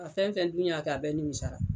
A fɛn fɛn dun y'a kɛ a bɛɛ nimisara.